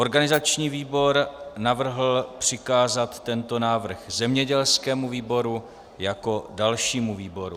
Organizační výbor navrhl přikázat tento návrh zemědělskému výboru jako dalšímu výboru.